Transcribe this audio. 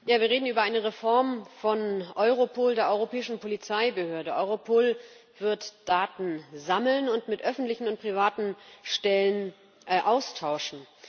Frau Präsidentin! Wir reden über eine Reform von Europol, der europäischen Polizeibehörde. Europol wird Daten sammeln und mit öffentlichen und privaten Stellen austauschen.